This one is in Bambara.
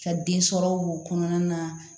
Ka den sɔrɔ k'o kɔnɔna na